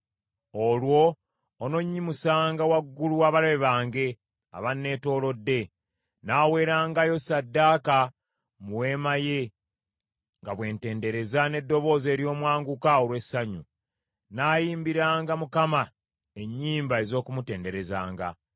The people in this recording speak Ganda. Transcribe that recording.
Olwo ononnyimusanga waggulu w’abalabe bange abanneetoolodde. Nnaaweerangayo ssaddaaka mu weema ye nga bwe ntendereza n’eddoboozi ery’omwanguka olw’essanyu; nnaayimbiranga Mukama ennyimba ez’okumutenderezanga.